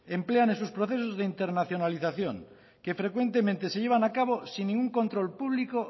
emplean en sus procesos de internacionalización que frecuentemente se llevan a cabo sin ningún control público